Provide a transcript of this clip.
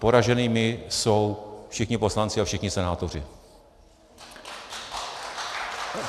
Poraženými jsou všichni poslanci a všichni senátoři.